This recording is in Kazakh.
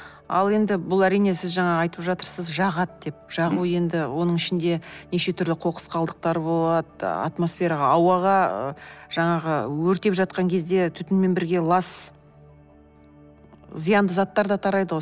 ал енді бұл әрине сіз жаңа айтып жатырсыз жағады деп жағу енді оның ішінде неше түрлі қоқыс қалдықтары болады атмосфераға ауаға жаңағы өртеп жатқан кезде түтінмен бірге лас зиянды заттар да тарайды ғой